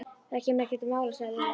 Það kemur ekki til mála sagði Lilla.